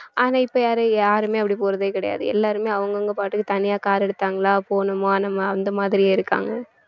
ஆனா இப்ப யாரு~ யாருமே அப்படி போறதே கிடையாது எல்லாருமே அவங்க அவங்க பாட்டுக்கு தனியா car எடுத்தாங்களா போனோமா நம்ம அந்த மாதிரியே இருக்காங்க